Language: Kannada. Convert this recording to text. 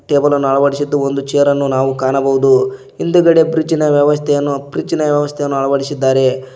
ಟೇಬಲ ನ್ನು ಅಳವಡಿಸಿದ್ದು ಒಂದು ಚೇರ ನ್ನು ನಾವು ಕಾಣಬಹುದು ಹಿಂದುಗಡೆ ಫ್ರಿಡ್ಜ್ ಇನ ವ್ಯವಸ್ಥೆಯನ್ನೂ ಫ್ರಿಡ್ಜ್ ಇನ ವ್ಯವಸ್ಥೆಯನ್ನೂ ಅಳವಡಿಸಿದ್ದಾರೆ.